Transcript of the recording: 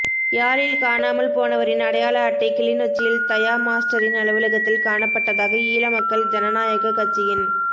யாழில் காணாமல் போனவரின் அடையாள அட்டை கிளிநொச்சியில் தயா மாஸ்டரின் அலுவலகத்தில் காணப்பட்டதாக ஈழ மக்கள் ஜனநாயக கட்சியின்